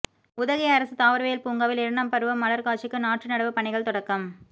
உதகை அரசு தாவரவியல் பூங்காவில் இரண்டாம் பருவ மலா்க் காட்சிக்கு நாற்று நடவுப் பணிகள் தொடக்கம்